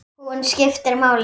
Hún skiptir máli.